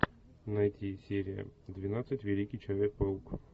найти серия двенадцать великий человек паук